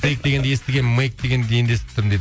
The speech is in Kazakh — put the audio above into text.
кейк дегенді естігенмін мэйк дегенді енді естіп тұрмын дейді